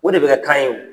O de bɛ kɛ k'an ye o